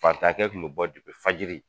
Fantakɛ kun me bɔ fayiri